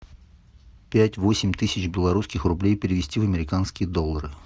пять восемь тысяч белорусских рублей перевести в американские доллары